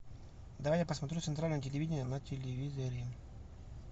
дай я посмотрю центральное телевидение на телевизоре